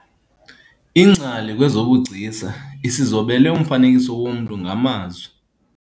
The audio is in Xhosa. Ingcali kwezobugcisa isizobele umfanekiso womntu ngamazwi.